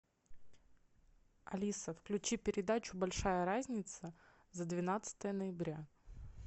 алиса включи передачу большая разница за двенадцатое ноября